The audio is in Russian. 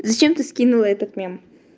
зачем ты скинула этот мем